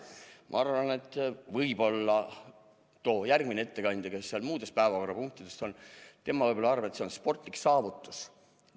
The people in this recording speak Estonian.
Ma arvan, et järgmine ettekandja, kes muude päevakorrapunktide arutelus räägib, võib-olla arvab, et see on sportlik saavutus.